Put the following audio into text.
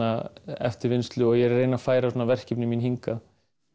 eftirvinnslu og ég er að reyna að færa öllu verkefnin mín hingað